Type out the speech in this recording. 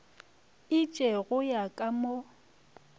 itše go ya ka mo